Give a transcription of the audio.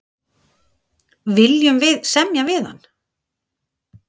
Viljum við semja við hann?